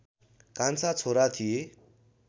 कान्छा छोरा थिए